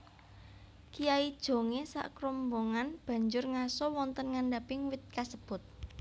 Kyai Jongé sakrombongan banjur ngaso wonten ngandhaping wit kasebut